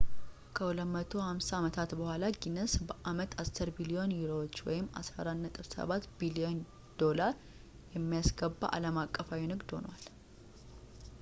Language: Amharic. ከ250 አመታት በኋላ፣ ጊኒስ በአመት 10 ቢሊዮን ዩሮዎች us$14.7 ቢሊዮን የሚያስገባ አለም አቀፋዊ ንግድ ሆኗል